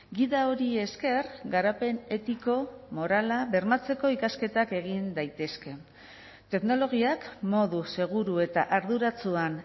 gida hori esker garapen etiko morala bermatzeko ikasketak egin daitezke teknologiak modu seguru eta arduratsuan